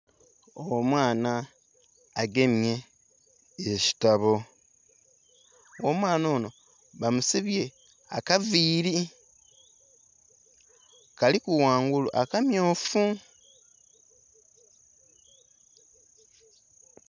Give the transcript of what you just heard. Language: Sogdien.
Omwana agemye ekitabo. Omwana onho bamusibye akaviili, kaliku ghangulu akammyufu.